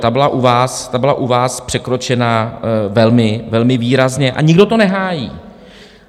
Ta byla u vás překročena velmi výrazně a nikdo to nehájí.